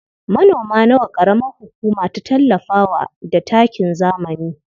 Manoma nawa ƙaramar hukuma ta tallafa wa da takin zamani?